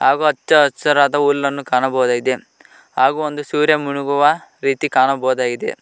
ಹಾಗು ಹಚ್ಚ ಹಸಿರಾದ ಹುಲ್ಲನ್ನು ಕಾಣಬಹುದಾಗಿದೆ ಹಾಗು ಒಂದು ಸೂರ್ಯ ಮುಳುಗುವ ರೀತಿ ಕಾಣಬಹುದಾಗಿದೆ.